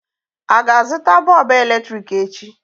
A ga-azụta bọlbụ èlétị̀ik echi?